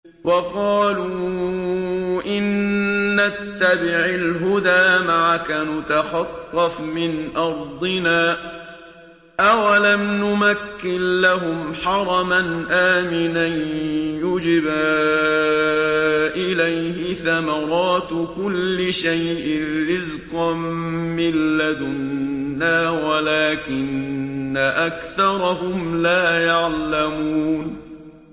وَقَالُوا إِن نَّتَّبِعِ الْهُدَىٰ مَعَكَ نُتَخَطَّفْ مِنْ أَرْضِنَا ۚ أَوَلَمْ نُمَكِّن لَّهُمْ حَرَمًا آمِنًا يُجْبَىٰ إِلَيْهِ ثَمَرَاتُ كُلِّ شَيْءٍ رِّزْقًا مِّن لَّدُنَّا وَلَٰكِنَّ أَكْثَرَهُمْ لَا يَعْلَمُونَ